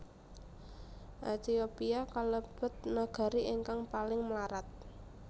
Ehtiopia kalebet nagari ingkang paling mlarat